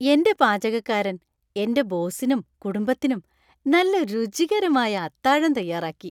എന്‍റെ പാചകക്കാരൻ എന്‍റെ ബോസിനും കുടുംബത്തിനും നല്ല രുചികരമായ അത്താഴം തയ്യാറാക്കി.